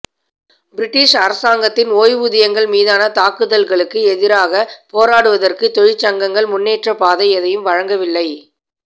British அரசாங்கத்தின் ஓய்வூதியங்கள் மீதான தாக்குதல்களுக்கு எதிராகப் போராடுவதற்கு தொழிற்சங்கங்கள் முன்னேற்றப்பாதை எதையும் வழங்கவில்லை